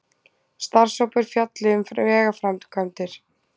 Starfshópur fjalli um vegaframkvæmdir